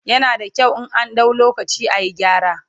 yana da kyau in an dau lokaci ayi gyara